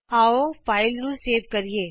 ਆਉ ਇਸ ਫਾਈਲ ਨੂੰ ਸੇਵ ਕਰੀਏ